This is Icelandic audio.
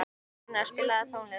Einar, spilaðu tónlist.